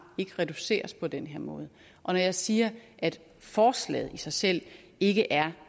kan reduceres på den her måde og når jeg siger at forslaget i sig selv ikke er